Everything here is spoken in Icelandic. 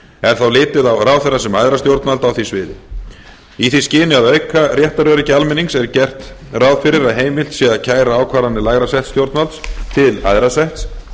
er þá litið á ráðherra sem æðra stjórnvald á því sviði í því skyni að auka réttaröryggi almennings er gert ráð fyrir að heimilt sé að kæra ákvarðanir til lægra setts stjórnvalds til æðra setts